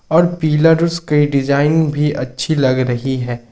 और पिलर्स के डिजाइन भी अच्छी लग रही है।